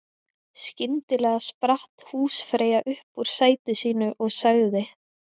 Skyndilega spratt húsfreyja upp úr sæti sínu og sagði